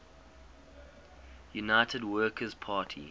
united workers party